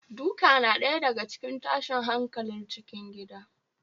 Duka na ɗaya daga cikin tashin hankalin cikin gida